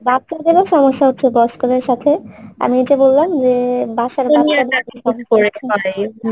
জি, বাচ্ছাদেরও সমস্যা হচ্ছে বয়স্কদের সাথে আমি ওই যে বললাম যে বাসা